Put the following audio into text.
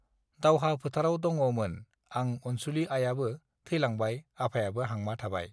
दावहा फोथाराव दङ मोन आं अनसुलि आइआबो थैलांबाय आफायाबो हांमा थाबाय